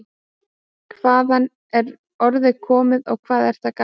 Hvaðan er orðið komið og hvað er það gamalt?